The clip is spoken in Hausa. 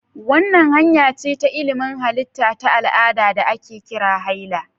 Wannan hanya ce ta ilimin halitta ta al'ada da ake kira haila.